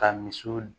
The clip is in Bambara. Ka misiw